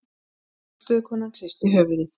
Forstöðukonan hristi höfuðið.